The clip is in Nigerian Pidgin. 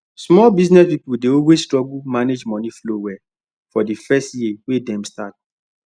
small business people dey always struggle manage money flow well for the first year wey dem start